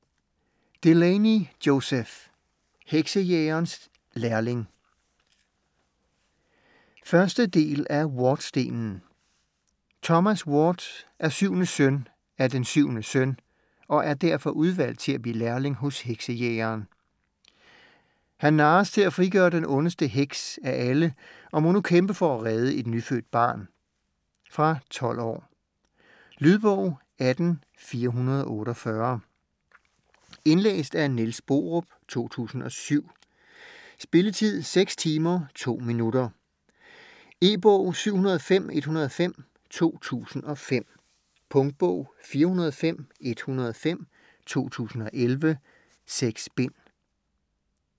Delaney, Joseph: Heksejægerens lærling 1. del af Wardstenen. Thomas Ward er syvende søn af den syvende søn og er derfor udvalgt til at blive lærling hos heksejægeren. Han narres til at frigøre den ondeste heks af alle og må nu kæmpe for at redde et nyfødt barn. Fra 12 år. Lydbog 18448 Indlæst af Niels Borup, 2007. Spilletid: 6 timer, 2 minutter. E-bog 705105 2005. Punktbog 405105 2011. 6 bind.